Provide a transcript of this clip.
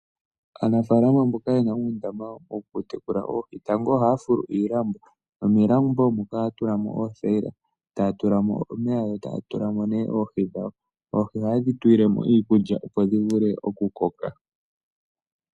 Aanafaalama mboka yena uundama wokutekula oohi, tango ohaya fulu iilambo nomiilambo muka oohaya tulamo oothayila, taya tulamo omeya yo taya tula oohi dhawo, oohi ohayedhi tulile mo iikulya opo dhivule okukoka.